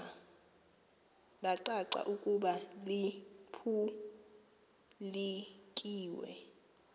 lacaca ukuba liphulukiwe